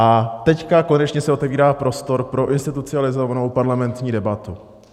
A teď konečně se otevírá prostor pro institucionalizovanou parlamentní debatu.